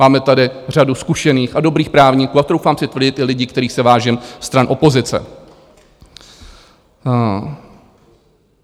Máme tady řadu zkušených a dobrých právníků a troufám si tvrdit i lidi, kterých se vážím, stran opozice.